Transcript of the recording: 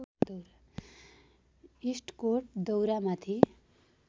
इस्टकोट दौरामाथि